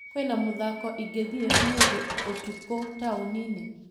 Kwĩna mũthako ingĩthiĩ ũmũthĩ ũtukũ taũni-inĩ ?